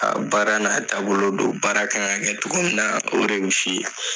baara n'a taabolo do baara ka kan ka kɛ cogo min na o de bɛ f'i ye.